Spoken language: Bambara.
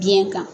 Biyɛn kan